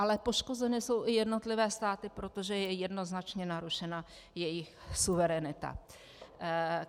Ale poškozeny jsou i jednotlivé státy, protože je jednoznačně narušena jejich suverenita.